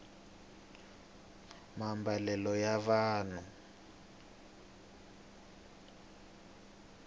maambalelo ya vanhu